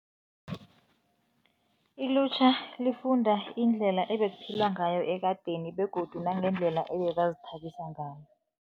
Ilutjha lifunda indlela ebekuphilwa ngayo ekadeni begodu nangendlela ebebazithabisa ngayo.